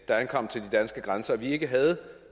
der ankom til de danske grænser og vi ikke havde